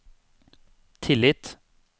tillit